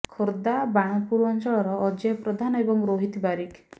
ଖୋର୍ଦ୍ଧା ବାଣପୁର ଅଞ୍ଚଳର ଅଜୟ ପ୍ରଧାନ ଏବଂ ରୋହିତ ବାରିକ